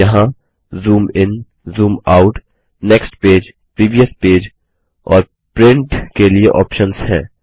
यहाँ zoom in zoom out next page previous page और print के लिए ऑप्शन्स हैं